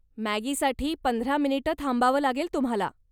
मॅगीसाठी पंधरा मिनिट थांबावं लागेल तुम्हाला.